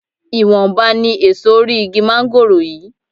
Ìwọ̀nba ni èso orí igi máńgòrò yìí